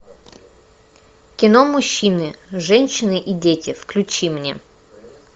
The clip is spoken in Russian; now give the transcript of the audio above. кино мужчины женщины и дети включи мне